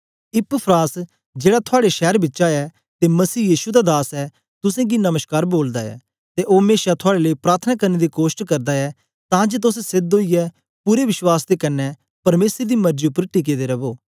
Epaphras जेड़ा थुआड़े शैर बिचा ऐ ते मसीह यीशु दा दास ऐ तुसेंगी नमश्कार बोलदा ऐ ते ओ मेशा थुआड़े लेई प्रार्थना करने दी कोष्ट करदा ऐ तां जे तोस सेध्द ओईयै पूरे विश्वास दे कन्ने परमेसर दी मरजी उपर टिके दे रवो